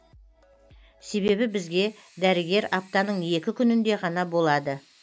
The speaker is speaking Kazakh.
себебі бізге дәрігер аптаның екі күнінде ғана болады